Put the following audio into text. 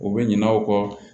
U bɛ ɲinɛ u kɔ